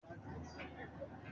Ago mélòó le máa ń jí l'òwúrò?